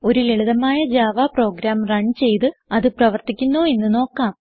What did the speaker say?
ഒരു ലളിതമായ Java program run ചെയ്ത് അത് പ്രവർത്തിക്കുന്നോ എന്ന് നോക്കാം